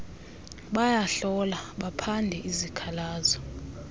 bayahlola baphande izikhalazo